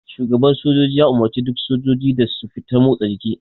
Shugaban sojoji ya umarce duk sojiji da su fita motsa jiki.